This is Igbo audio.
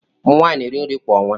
Ụmụ nwanyị na-eri nri kwa ọnwa.